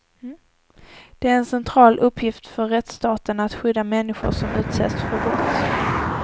Det är en central uppgift för rättsstaten att skydda människor som utsätts för brott.